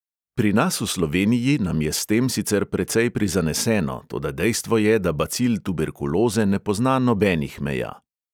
Pri nas v sloveniji nam je s tem sicer precej prizaneseno, toda dejstvo je, da bacil tuberkuloze ne pozna nobenih meja.